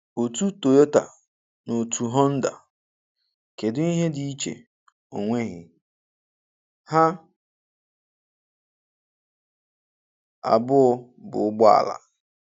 Otú Toyota na otu Honda, kedụ ihe dị iche, onweghi! Ha abụọ bụ ụgbọala